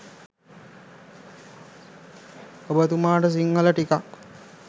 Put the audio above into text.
ඔබ තුමාට සිංහල ටිකක්